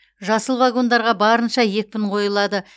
жасыл вагондарға барынша екпін қойылады